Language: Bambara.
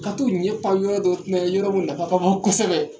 Ka t'u ɲɛ pan yɔrɔ dɔ kunna ye yɔrɔ min nafa ka bon kosɛbɛ